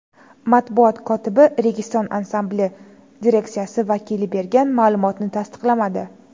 Matbuot kotibi Registon ansambli direksiyasi vakili bergan ma’lumotni tasdiqlamadi.